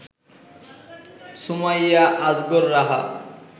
Sumaiya Azgar Raha